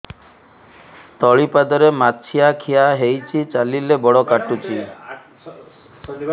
ତଳିପାଦରେ ମାଛିଆ ଖିଆ ହେଇଚି ଚାଲିଲେ ବଡ଼ କାଟୁଚି